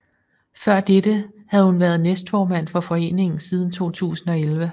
Før dette havde hun været næstformand for foreningen siden 2011